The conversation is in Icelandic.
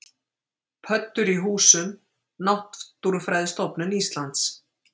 Pöddur í húsum: Náttúrufræðistofnun Íslands.